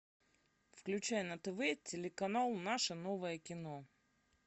включай на тв телеканал наше новое кино